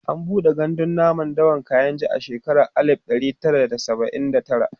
an buɗe gandun namun dawan kainji a shekara alib ɗari Tara da saba'in da tara